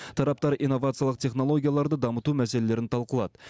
тараптар инновациялық технологияларды дамыту мәселелерін талқылады